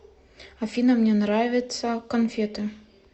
афина мне нравятся конфеты